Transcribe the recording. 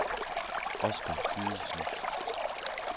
Oscar Gydesen